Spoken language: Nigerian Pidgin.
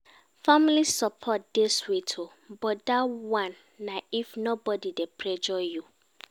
Family support dey sweet o, but dat one na if nobodi dey pressure you.